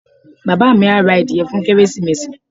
Bàbá mi á ra adìẹ fún Kérésìmesì.